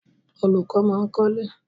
Olùkọ́ máa ń kọ́lé.